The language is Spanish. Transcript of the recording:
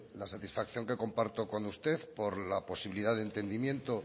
la satisfacción que comparto con usted por la posibilidad de entendimiento